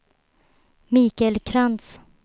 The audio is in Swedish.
Mikael Krantz